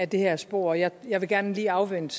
det her spor jeg jeg vil gerne lige afvente